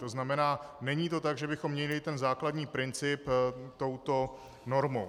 To znamená, není to tak, že bychom měnili ten základní princip touto normou.